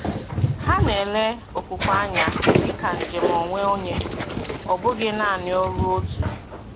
Hà na-ele okwukwe anya dị ka njem onwe onye, ọ bụghị naanị ọrụ òtù.